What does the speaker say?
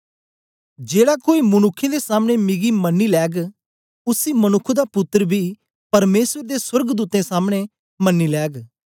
जेड़ा कोई मनुक्खें दे सामने मिकी मन्नी लैग उसी मनुक्ख दा पुत्तर बी परमेसर दे सोर्गदूतें सामने मन्नी लैग